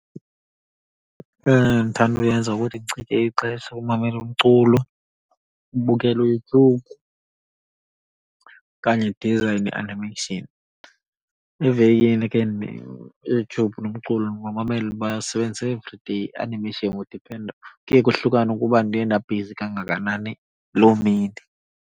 Eyona nto ndithanda uyenza ukuthi ndichithe ixesha kumamela umculo, ubukela uYouTube, okanye ndize ne-animation. Evekini ke uYouTube nomculo ndibamamela, ndibasebenzisa everyday, i-animation kudiphenda, kuye kohlukane ukuba ndiye ndabhizi kangakanani loo mini.